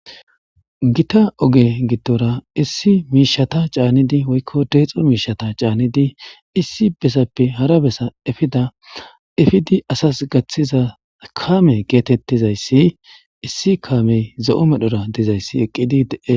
Gita oge gittora issi miishata caannidi woykko deexo miishata caannidi issi besappe hara besa efida efidi asas gaththiza kaame geetettizayssi issi kaamey zo'o medhora dizayssi eqqidi dee.